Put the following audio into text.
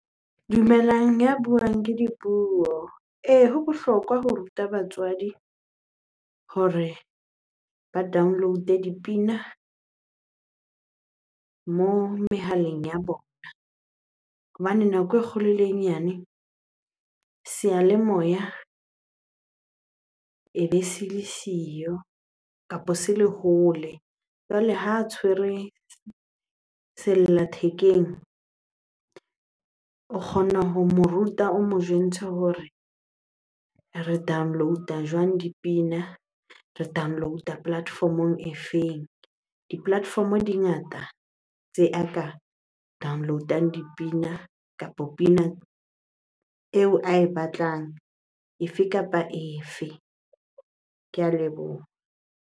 Dumelang ya buang ke Dipuo. Ee, ho bohlokwa ho ruta batswadi hore ba download-e dipina mo mehaleng ya bona hobane nako e kgolo le e nyane seyalemoya ebe se le siyo kapa se le hole. Jwale ha tshwere sella thekeng, o kgona ho mo ruta, o mo jwentshe hore re download-a jwang dipina? Re download-a platform-ong e feng? Di-platform-o di ngata tse a ka download-ang dipina kapa pina eo ae batlang, efe kapa efe. Ke a leboha.